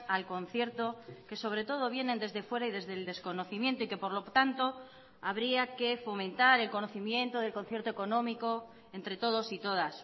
al concierto que sobre todo vienen desde fuera y desde el desconocimiento y que por lo tanto habría que fomentar el conocimiento del concierto económico entre todos y todas